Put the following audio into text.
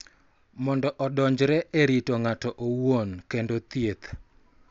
Mondo odonjre e rito ng�ato owuon kendo thieth.